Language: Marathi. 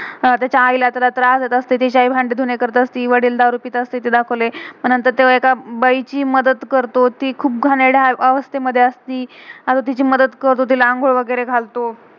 तेच्या आई ला तेला त्रास देत असते, तेचे आई भांडी-धुनें करत असते. वडिल दारु पिट असते, ते दाखवलय. मग नंतर तो एक बाई ची मदद करतो, त खुप घान~घानेर्दया आवस्थेत मधे असती. हा तिची मदद करतो, तिला अंघोळ वगेरे घालतो.